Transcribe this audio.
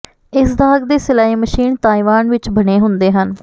ਇਸ ਦਾਗ ਦੇ ਸਿਲਾਈ ਮਸ਼ੀਨ ਤਾਇਵਾਨ ਵਿੱਚ ਬਣੇ ਹੁੰਦੇ ਹਨ